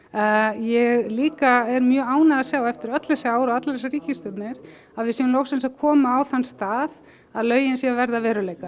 ég er líka mjög ánægð að sjá eftir öll þessi ár og allar þessar ríkisstjórnir að við séum loksins að koma á þann stað að lögin séu að verða að veruleika